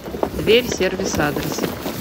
дверь сервис адрес